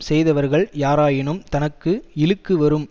செய்தவர்கள் யாராயினும் தனக்கு இழுக்கு வரும்